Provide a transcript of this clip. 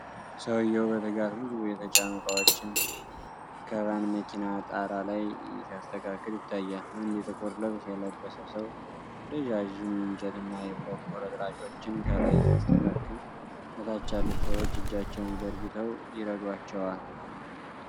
ሰውዬው በትጋት ብዙ የተጫኑ ዕቃዎችን ከቫን መኪና ጣራ ላይ ሲያስተካክል ይታያል። አንድ ጥቁር ልብስ የለበሰ ሰው ረዣዥም የእንጨት እና የብረት ቁርጥራጮችን ከላይ ሲያስተካክል፣ ከታች ያሉት ሰዎች እጃቸውን ዘርግተው ይረዷቸዋል።